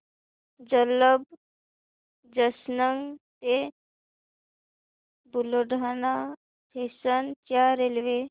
Jalamb junction ते Buldhana station च्या railway